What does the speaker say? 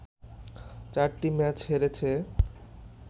চারটি ম্যাচ হেরেছে